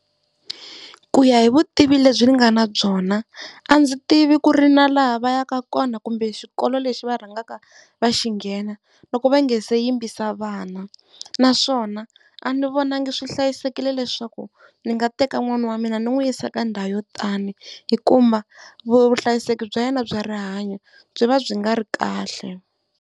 Ku ya hi vutivi lebyi ni nga na byona a ndzi tivi ku ri na laha va yaka kona kumbe xikolo lexi va rhangaka va xi nghena, loko va nga se yimbisa vana naswona a ni vonangi swi hlayisekile leswaku ndzi nga teka n'wana wa mina ni n'wi yisa ka ndhawu yo tani, hi kuma vuhlayiseki bya yena bya rihanyo byi va byi nga ri kahle.